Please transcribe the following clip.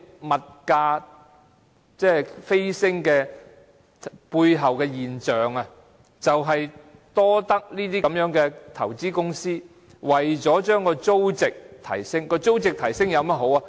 物價飆升背後的現象便是這些投資公司要把租值提升，租值提升有甚麼好處呢？